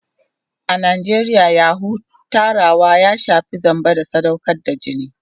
A Najeriya yahoo + ya shafi zamba da sadaukar da jini.